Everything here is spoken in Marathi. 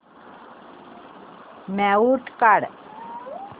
म्यूट काढ